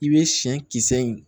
I bɛ siyɛn kisɛ in